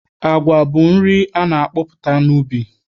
Agwa bụ nri a na-akọpụta n'ubi.